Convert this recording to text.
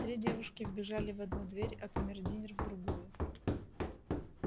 три девушки вбежали в одну дверь а камердинер в другую